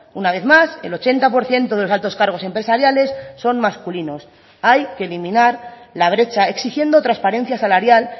una vez más el ochenta por ciento de los altos cargos empresariales son masculinos hay que eliminar la brecha exigiendo transparencia salarial